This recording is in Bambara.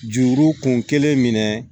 Juru kun kelen minɛ